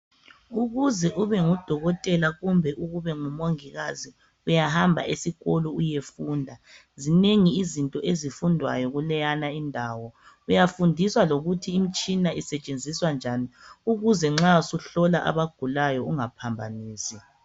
Ukuze ube ngudokotela kumbe ubengumongikazi uyahamba esikolo uyefunda. Zinengi izinto ezifundwayo kuleyana indawo. Uyafundiswa lokuthi imitshina isetshenziswa njani ukuze nxa suhlola abagulayo ungaphambanisi.